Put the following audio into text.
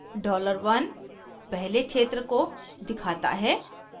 $1 dollar 1 पहले क्षेत्र को दिखाता है